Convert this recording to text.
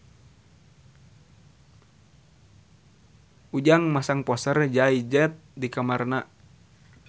Ujang masang poster Jay Z di kamarna